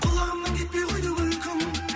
құлағымнан кетпей қойды күлкің